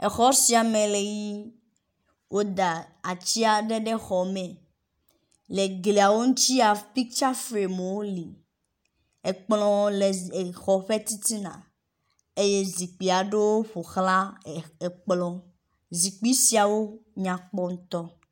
exɔ siame le yi woda atsiaɖe ɖe xɔme le glia ŋutsia picture framowo li ekplɔ̃ le exɔ ƒɛ titina eye zikpiaɖewo ƒoxlã ekplɔ̃ zikpi nyakpɔ ŋtɔ